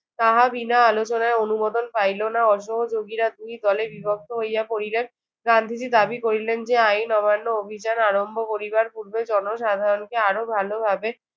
তাহা বিনা আলোচনায় অনুমোদন পাইল না। অসহোযোগীরা দুই দলে বিভক্ত হইয়া পড়িলেন। গান্ধীজি দাবি করিলেন যে আইন অমান্য অভিযান আরম্ভ করিবার পূর্বে জনসাধারণকে আরো ভালোভাবে